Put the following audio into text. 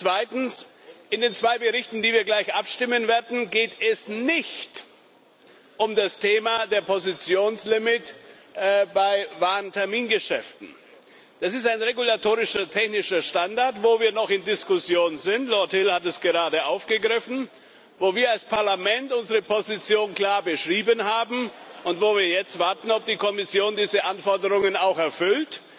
Zweitens In den zwei Berichten, über die wir gleich abstimmen werden, geht es nicht um das Thema der Positionslimits bei Warentermingeschäften. Das ist ein regulatorischer technischer Standard, wo wir noch in Diskussionen sind Lord Hill hat es gerade aufgegriffen wo wir als Parlament unsere Position klar beschrieben haben und wo wir jetzt warten, ob die Kommission diese Anforderungen auch erfüllt.